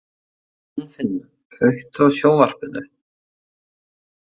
Gunnfinna, kveiktu á sjónvarpinu.